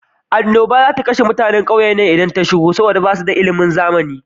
Annobar za ta kashe mutane idan ta shigo ƙauyennan, saboda da mutanan ba su da ilimin zamana.